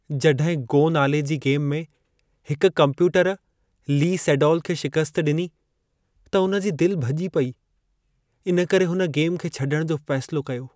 जॾहिं "गो" नाले जी गेम में हिक कंप्यूटर ली सेडोल खे शिकस्तु ॾिनी, त हुन जी दिल भॼी पई। इन करे हुन गेम खे छॾण जो फ़ैसिलो कयो।